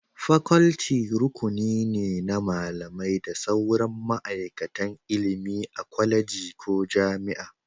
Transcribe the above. Faculty rukuni ne na malamai da sauran ma'aikatan ilimi a kwaleji ko jami'a